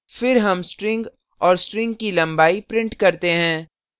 फिर हम string और string की लंबाई print करते हैं